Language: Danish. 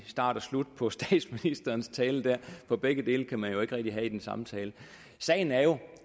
start og slut på statsministerens tale for begge dele kan man jo ikke rigtig have i den samme tale sagen er jo